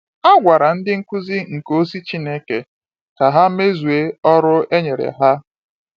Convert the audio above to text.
A gwara ndị Nkuzi nke Ozi Chineke ka ha mezue ọrụ e nyere ha.